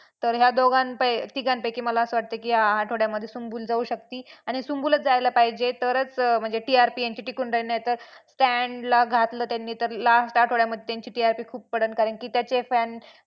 तर या दोघां तिघांपैकी मला मला असं वाटतं की या आठवड्यामध्ये सुम्बूल जाऊ शकती आणि सुम्बूलच जायला पाहिजे तरच म्हणजे TRP यांची टिकून राहील नाहीतर Stan ला घातलं त्यांनी तर last आठवड्यामध्ये त्यांची TRP खूप पडल कारण की त्याचे fan